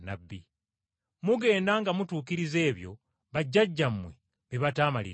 Mugenda nga mutuukiriza ebyo bajjajjammwe bye bataamaliriza.